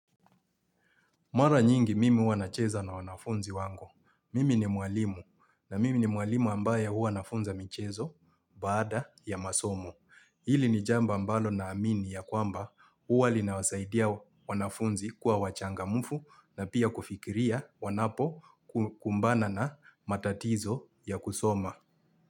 Mara nyingi mimi huwa nacheza na wanafunzi wangu. Mimi ni mwalimu na mimi ni mwalimu ambaye huwa nafunza michezo baada ya masomo. Hili ni jambo ambalo naamini ya kwamba huwa linawasaidia wanafunzi kuwa wachangamfu na pia kufikiria wanapokumbana na matatizo ya kusoma.